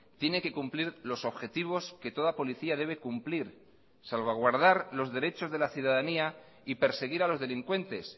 tiene que cumplir los objetivos que toda policía debe cumplir salvaguardar los derechos de la ciudadanía y perseguir a los delincuentes